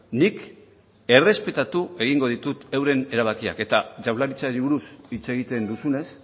nik errespetatu egingo ditut euren erabakiak eta jaurlaritzari buruz hitz egiten duzunez